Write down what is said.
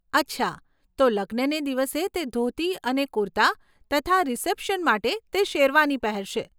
અચ્છા, તો લગ્નને દિવસે, તે ધોતી અને કુર્તા તથા રીસેપ્શન માટે તે શેરવાની પહેરશે.